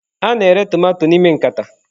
A na-ere tomato n'ime nkata.